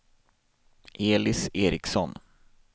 Elis Ericson